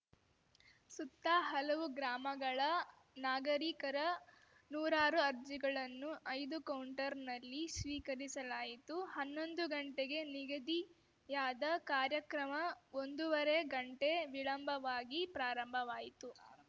ಸುತ್ತ ಹಲವು ಗ್ರಾಮಗಳ ನಾಗರೀಕರ ನೂರಾರು ಅರ್ಜಿಗಳನ್ನು ಐದು ಕೌಂಟರ್‌ನಲ್ಲಿ ಸ್ವೀಕರಿಸಲಾಯಿತು ಹನ್ನೊಂದು ಗಂಟೆಗೆ ನಿಗದಿಯಾದ ಕಾರ್ಯಕ್ರಮ ಒಂದೂವರೆ ಗಂಟೆ ವಿಳಂಬವಾಗಿ ಪ್ರಾರಂಭವಾಯಿತು